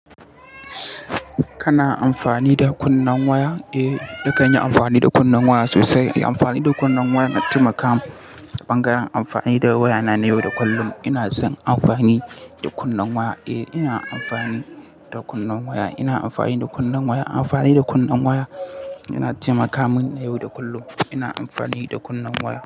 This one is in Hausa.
Kana amfani da kunnen waya? Eh, nakanyi amfani da kunnen waya sosai. Amfani da kunne waya na taimaka min. Ɓangaren amfani da waya na yau da kullum. Ina son amfani da kunnen waya. Eh, ina amfani da kunnen waya. Ina amfani da kunnen waya. Amfani da kunne waya yana taimaka min yau da kullum. Ina amfani da kunnen waya.